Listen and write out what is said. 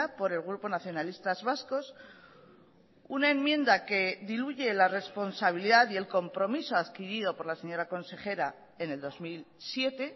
por el grupo nacionalistas vascos una enmienda que diluye la responsabilidad y el compromiso adquirido por la señora consejera en el dos mil siete